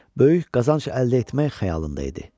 böyük qazanc əldə etmək xəyalında idi.